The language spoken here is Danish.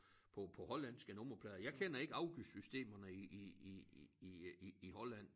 På på hollandske nummerplader jeg kender ikke afgiftssystemet i i i i øh i i Holland